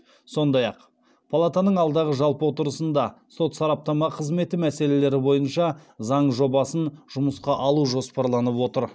сондай ақ палатаның алдағы жалпы отырысында сот сараптама қызметі мәселелері бойынша заң жобасын жұмысқа алу жоспарланып отыр